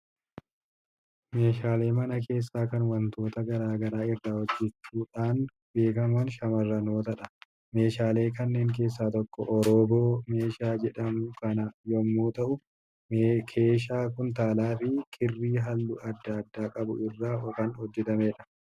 Meeshaalee mana keessaa kan waantota garaa garaa irraa hojjechuudhaan beekaman shamarrootadha. Meeshaalee kanneen keessaa tokko Orooboo meeshaa jedhamu kana yommuu ta'u, keeshaa kuntaalaa fi kirrii halluu adda addaa qabu irraa kan hojjetamudha.